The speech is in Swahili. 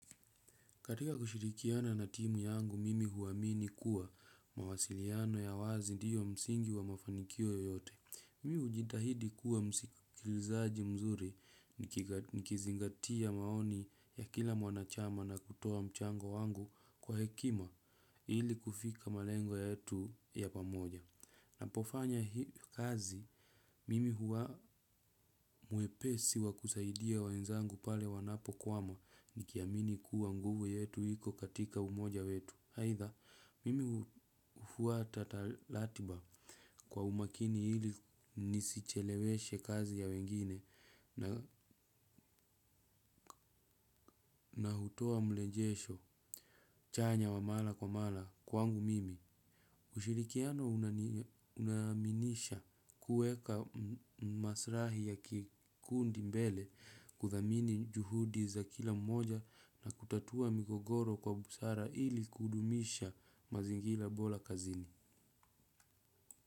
Katika kushirikiana na timu yangu, mimi huamini kuwa mawasiliano ya wazi ndio msingi wa mafanikio yoyote. Mimi hujitahidi kuwa msikilizaji mzuri nikizingatia maoni ya kila mwanachama na kutoa mchango wangu kwa hekima ili kufika malengo yetu ya pamoja. Napofanya hii kazi mimi huwa mwepesi wa kusaidia wenzangu pale wanapokwama nikiamini kuwa nguvu yetu iko katika umoja wetu. Aitha, mimi huwa ratiba kwa umakini ili nisicheleweshe kazi ya wengine na hutoa mrejesho chanya wa mara kwa mara kwangu mimi. Ushirikiano unaaminisha kuweka masilahi ya kikundi mbele, kuthamini juhudi za kila mmoja na kutatua migogoro kwa busara ili kudumisha mazingira bora kazini.